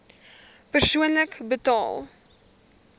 persoonlik betaal